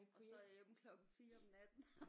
Og så er jeg hjemme klokken 4 om natten